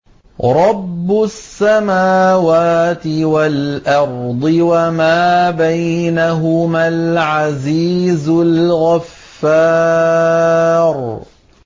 رَبُّ السَّمَاوَاتِ وَالْأَرْضِ وَمَا بَيْنَهُمَا الْعَزِيزُ الْغَفَّارُ